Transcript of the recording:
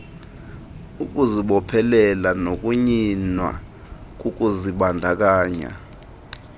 ukuzibophelela nokunyinwa kokuzibandakanya